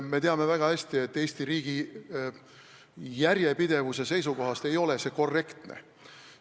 Me teame väga hästi, et Eesti riigi järjepidevuse seisukohast ei ole see korrektne.